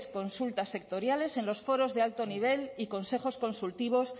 consultas sectoriales en los foros de alto nivel y consejos consultivos